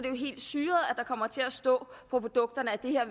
er kommer til at stå på produkterne